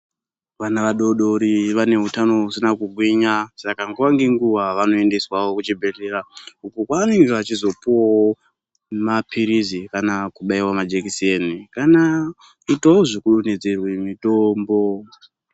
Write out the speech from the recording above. Vana vadodori vane utano husina kugwinya saka nguwa ngenguwa vanoendeswawo kuchibhedhlera uko kwavanenge vachizopuwawo maphirizi kana kubaiwa majekiseni kana kuitawo zvekudonhedzerwe mitombo.